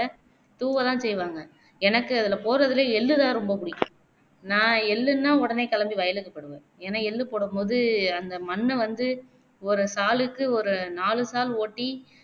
தூவதான் செய்வாங்க எனக்கு அதுலே போடுறதுலே எள்ளுதான் புடிக்கும் நா எள்ளுனா உடனே வயலுக்கு போயிடுவேன் ஏனா எள்ளு போடும்போது அந்த மண்ண வந்து ஒரு சாலுக்கு ஒரு நாலுசால் ஓட்டி